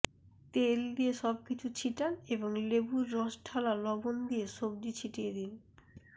তেল দিয়ে সবকিছু ছিটান এবং লেবুর রস ঢালা লবণ দিয়ে সবজি ছিটিয়ে দিন